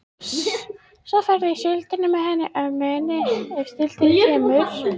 Svo ferðu í síldina með henni ömmu þinni, ef síldin kemur.